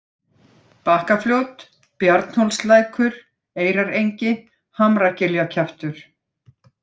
Bakkafljót, Bjarnhólslækur, Eyrarengi, Hamragiljakjaftur